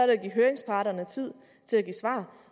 det at give høringsparterne tid til at give svar